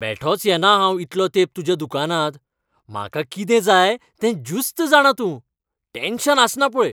बेठोच येना हांव इतलो तेंप तुज्याच दुकानांत, म्हाका कितें जाय तें ज्युस्त जाणा तूं, टॅन्शन आसना पळय.